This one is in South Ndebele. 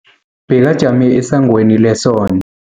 Bekajame esangweni leson